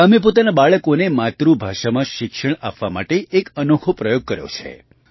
આ ગામે પોતાનાં બાળકોને માતૃભાષામાં શિક્ષણ આપવા માટે એક અનોખો પ્રયોગ કર્યો છે